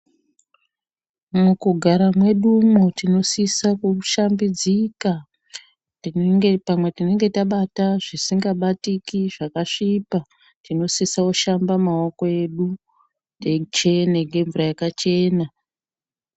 Mukugara mwedumwo tinosise kushambidzika. Pamwe tinenge tabata zvisingabatiki zvakasvipa, tinosise kushamba maoko edu eichena nemvura yakachena.